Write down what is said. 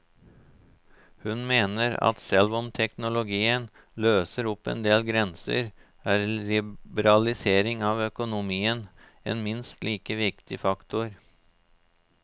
Hun mener at selv om teknologien løser opp en del grenser er liberalisering av økonomien en minst like viktig faktor.